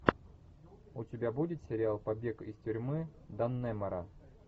у тебя будет сериал побег из тюрьмы даннемора